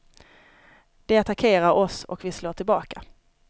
De attackerar oss och vi slår tillbaka.